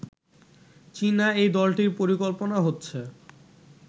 চীনা এই দলটির পরিকল্পনা হচ্ছে